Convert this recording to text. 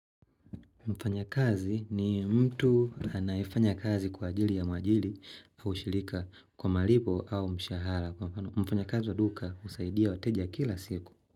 Mfanyakazi ni mtu anayefanya kazi kwa ajili ya mwajiri au shirika kwa malipo au mshahara. Mfanyakazi wa duka husaidia wateja kila siku.